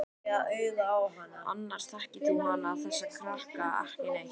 Annars þekkir hún þessa krakka ekki neitt.